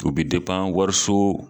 U bi wariso